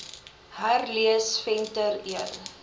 herlees venter l